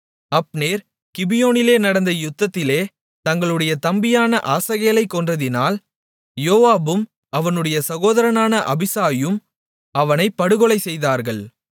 Abner கிபியோனிலே நடந்த யுத்தத்திலே தங்களுடைய தம்பியான ஆசகேலைக் கொன்றதினால் யோவாபும் அவனுடைய சகோதரனான அபிசாயும் அவனைப் படுகொலைசெய்தார்கள்